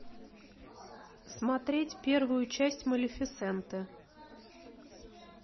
смотреть первую часть малефисенты